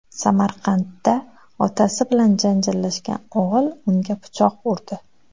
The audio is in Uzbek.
Samarqandda otasi bilan janjallashgan o‘g‘il unga pichoq urdi.